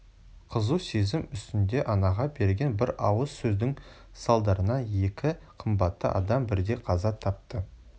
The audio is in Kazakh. қызу сезім үстінде анаға берген бір ауыз сөздің салдарынан екі қымбатты адам бірдей қаза тапты